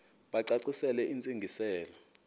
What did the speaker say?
bacacisele intsi ngiselo